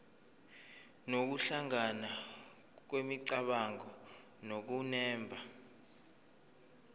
nokuhlangana kwemicabango nokunemba